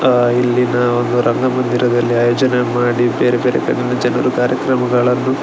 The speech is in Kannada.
ಆ ಇಲ್ಲಿನ ಒಂದು ರಂಗಮಂದಿರದಲ್ಲಿ ಆಯೋಜನೆ ಮಾಡಿ ಬೇರೆ ಬೇರೆ ಕಡೆಯ ಜನರು ಕಾರ್ಯಕ್ರಮಗಳನ್ನು --